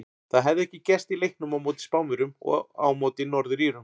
Það hafði ekki gerst í leiknum á móti Spánverjum og á móti Norður Írum.